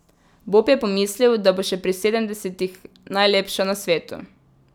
Bob je pomislil, da bo še pri sedemdesetih najlepša na svetu.